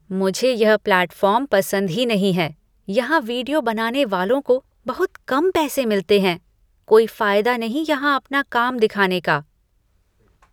मुझे यह प्लैटफ़ॉर्म पसंद ही नहीं है। यहाँ वीडियो बनाने वालों को बहुत कम पैसे मिलते हैं। कोई फायदा नहीं यहाँ अपना काम दिखाने का।